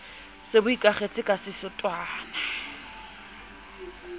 se bo ikakgetse ka setotswana